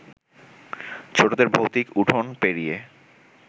ছোটদের ভৌতিক উঠোন পেরিয়ে